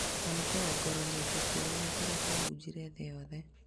Nanĩkũrongororia gĩkuo gĩake kĩrĩa kĩahunjire thĩ yothe